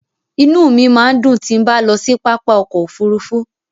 Inú mi máa ń dùn tí bá ń lọ sí pápá ọkọ̀ Òfurufú.